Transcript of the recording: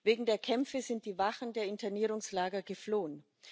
Wegen der Kämpfe sind die Wachen der Internierungslager geflohen.